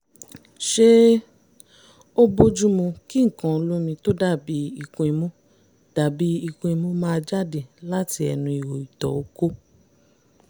ṣé ó bójúmu kí nǹkan olómi tó dàbíi ikun-imú dàbíi ikun-imú máa jáde láti ẹnu ihò ìtọ̀ okó?